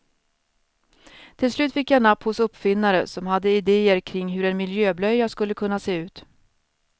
Till slut fick jag napp hos uppfinnare som hade idéer kring hur en miljöblöja skulle kunna se ut.